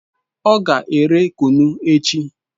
O ga ere kunu echi